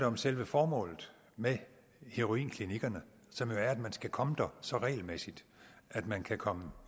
om selve formålet med heroinklinikkerne som jo er at man skal komme der så regelmæssigt at man kan komme